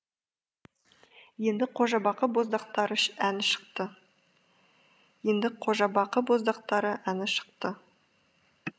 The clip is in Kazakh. енді қожабақы боздақтары әні шықты енді қожабақы боздақтары әні шықты